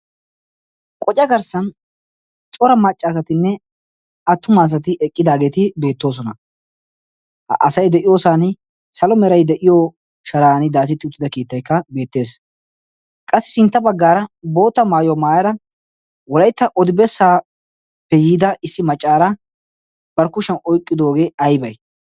Qoca garssan cora macca asatinne attuma asatti eqqidaagetti beettoosona. Ha asay de'iyosani salo meray de'iyo sharani daasettida keettaykka beettees. Qassi sintta baggaara boottaa maayuwaa maayara wolaytta odi besappe yiida issi maccaara bari kushiyan oyqqidoge aybe?